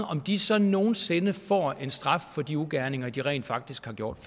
om de så nogen sinde får en straf for de ugerninger de rent faktisk har gjort